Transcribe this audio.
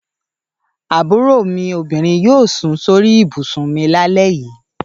Àbúrò mú obinrin yóò sùn sórí ibùsùn mi lálẹ́ yìí.